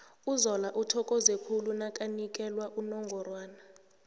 uzola uthokoze khulu nakanikela unongorwana